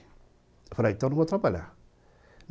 Eu falei, então eu não vou trabalhar.